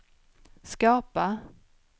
skapa